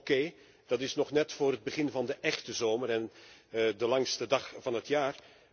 Oké, dat is nog net vóór het begin van de échte zomer en de langste dag van het jaar.